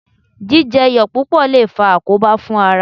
Jíjẹ iyọ̀ púpọ̀ lè faa àkóbá fún ara